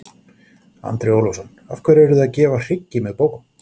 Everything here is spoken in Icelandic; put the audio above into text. Andri Ólafsson: Af hverju eruð þið að gefa hryggi með bókum?